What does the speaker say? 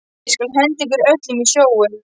Ég skal henda ykkur öllum í sjóinn!